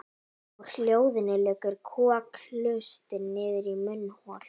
Úr hljóðholi liggur kokhlustin niður í munnhol.